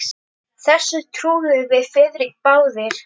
Þessu trúðum við Friðrik báðir.